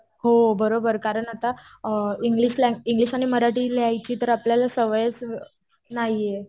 हो बरोबर. कारण आता इंग्लिश आणि मराठी लिहायची तर आता आपल्याला सवयच नाहीये.